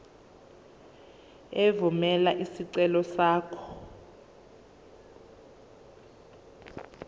evumela isicelo sakho